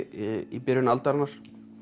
í byrjun aldarinnar í